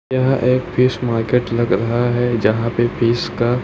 यह एक fish market लग रहा है। जहां पे फिश का--